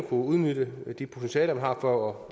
udnyttelsen af de potentialer man har for